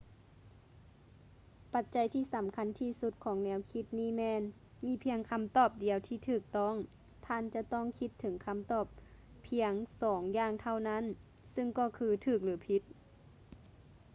ປັດໃຈທີ່ສຳຄັນທີ່ສຸດຂອງແນວຄິດນີ້ແມ່ນ ມີພຽງຄຳຕອບດຽວທີ່ຖືກຕ້ອງ ທ່ານຈະຕ້ອງຄິດເຖິງຄຳຕອບພຽງສອງຢ່າງເທົ່ານັ້ນ ຊຶ່ງກໍຄືຖືກ ຫຼື ຜິດ